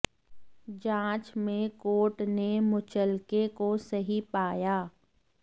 जांच में काेर्ट ने मुचलके काे सही पाया